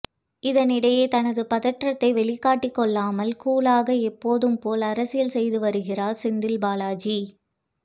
இதனிடையே தனது பதற்றத்தை வெளிக்காட்டிக் கொள்ளாமல் கூலாக எப்போதும் போல் அரசியல் செய்து வருகிறார் செந்தில்பாலாஜி